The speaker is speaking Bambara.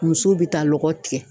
Musow bɛ taa lɔgɔ tigɛ.